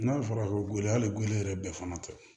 N'a fɔra ko gɛlɛya hali golo yɛrɛ bɛɛ fana tɛ